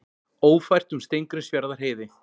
Ófært um Steingrímsfjarðarheiði